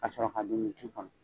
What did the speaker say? Kasɔrɔ ka dumuni kɔnɔ